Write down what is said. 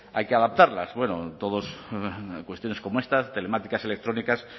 hay que adaptarlas bueno todos cuestiones como esta telemáticas y electrónicas